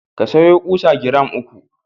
Ka sayo ƙusa giram uku.